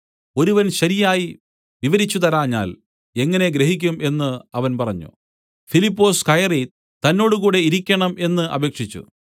ഒരുവൻ ശരിയായി വിവരിച്ചു തരാഞ്ഞാൽ എങ്ങനെ ഗ്രഹിക്കും എന്ന് അവൻ പറഞ്ഞു ഫിലിപ്പൊസ് കയറി തന്നോടുകൂടെ ഇരിക്കേണം എന്ന് അപേക്ഷിച്ചു